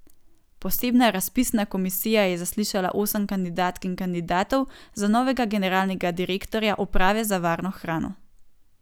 Posebna razpisna komisija je zaslišala osem kandidatk in kandidatov za novega generalnega direktorja uprave za varno hrano.